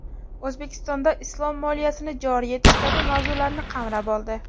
O‘zbekistonda islom moliyasini joriy etish kabi mavzularni qamrab oldi.